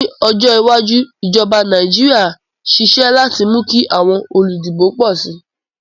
Ní ojó iwájú, ìjoba Naijiria sisé láti mú kí àwon olùdìbò pò si